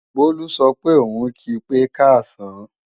Bólú sọ pé òun kí pé káàsán